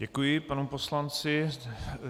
Děkuji panu poslanci.